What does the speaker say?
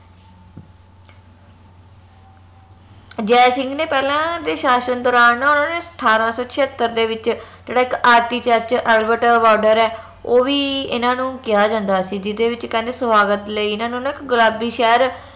ਜੈ ਸਿੰਘ ਨੇ ਪਹਿਲਾ ਦੇ ਸ਼ਾਸ਼ਨ ਦੌਰਾਨ ਨਾ ਓਨਾ ਨੇ ਅਠਾਰਾਂ ਸੋ ਛਯਾਤਰ ਦੇ ਵਿਚ ਜਿਹੜਾ ਇਕ architecture albert ਹੈ ਓਵੀ ਏਨਾ ਨੂੰ ਕਿਹਾ ਜਾਂਦਾ ਸੀ ਜਿਹਦੇ ਵਿਚ ਕਹਿੰਦੇ ਸਵਾਗਤ ਲਈ ਇਹਨਾਂ ਨੂੰ ਨਾ ਇਕ ਗੁਲਾਬੀ ਸ਼ਹਿਰ